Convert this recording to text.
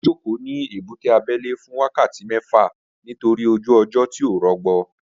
Mo jókòó ní ebúté abẹ́lé fún wákàtí mẹ́fà nítorí ojú ọjọ́ tí ò rọgbọ